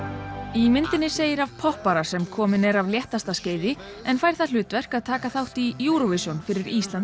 í myndinni segir af poppara sem kominn er af léttasta skeiði en fær það hlutverk að taka þátt í Eurovision fyrir Íslands